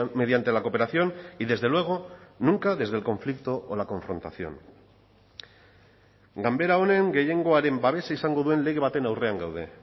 mediante la cooperación y desde luego nunca desde el conflicto o la confrontación ganbera honen gehiengoaren babesa izango duen lege baten aurrean gaude